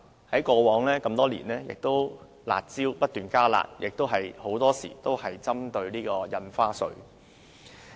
過往多年，政府制訂"辣招"後不斷加辣，很多時候都是針對印花稅。